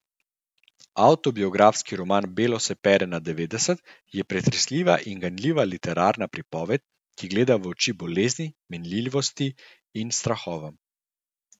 Avtobiografski roman Belo se pere na devetdeset je pretresljiva in ganljiva literarna pripoved, ki gleda v oči bolezni, minljivosti in strahovom.